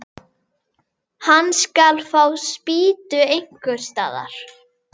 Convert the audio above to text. Hann skal fá spýtur einhvers staðar.